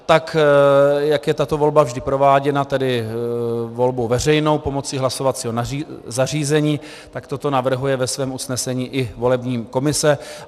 Tak jak je tato volba vždy prováděna, tedy volbou veřejnou pomocí hlasovacího zařízení, tak toto navrhuje ve svém usnesení i volební komise.